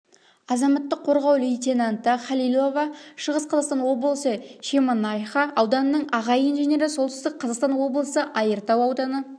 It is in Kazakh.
азаматтық қорғау лейтенанты халилова шығыс қазақстан облысы шемонаиха ауданының аға инженері солтүстік қазақстан облысы айыртау ауданы